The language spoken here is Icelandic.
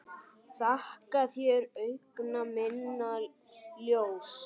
Þakka þér, augna minna ljós.